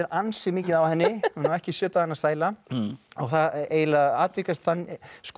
ansi mikið á henni hún á ekki sjö dagana sæla og það eiginlega atvikast þannig